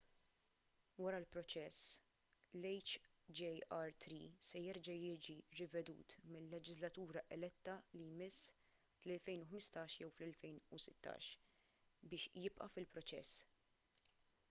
wara l-proċess l-hjr-3 se jerġa’ jiġi rivedut mil-leġiżlatura eletta li jmiss fl-2015 jew fl-2016 biex jibqa’ fil-proċess